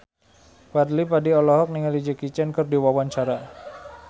Fadly Padi olohok ningali Jackie Chan keur diwawancara